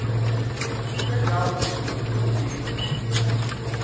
kule ndawo ubuye